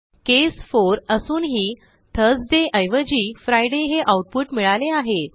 केस 4 असूनही थर्सडे ऐवजी फ्रिडे हे आऊटपुट मिळाले आहे